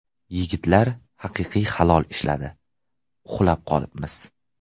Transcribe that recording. Yigitlar haqiqiy halol ishladi... Uxlab qolibmiz.